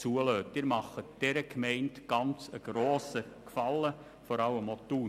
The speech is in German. Sie erweisen diesen Gemeinden einen sehr grossen Gefallen, vor allem auch Thun.